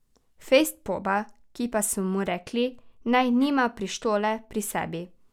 Fejst poba, ki pa sem mu rekel, naj nima pištole pri sebi.